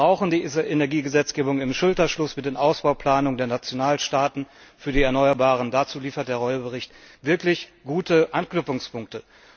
Wir brauchen die Energiegesetzgebung im Schulterschluss mit den Ausbauplanungen der Nationalstaaten für die erneuerbaren Energien. Dazu liefert der Bericht Reul wirklich gute Anknüpfungspunkte.